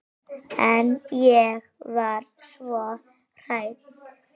En ég var svo hrædd.